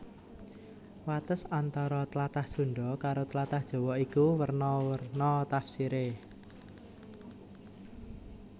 Wates antara tlatah Sundha karo tlatah Jawa iku werna werna tafsiré